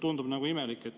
Tundub nagu imelik.